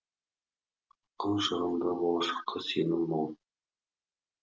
ақын жырында болашаққа сенім мол